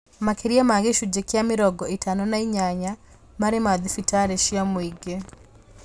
Makĩria ma gĩcunjĩ kĩa mĩrongo ĩtano na inyanya marĩ ma thibitarĩ cia mũingĩ